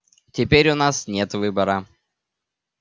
теперь у нас нет выбора